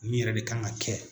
Nin yɛrɛ de kan ka kɛ.